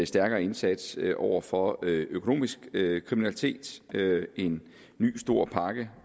stærkere indsats over for økonomisk kriminalitet en ny stor pakke